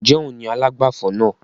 Ń jẹ́ òun ni alágbàfọ̀ náà?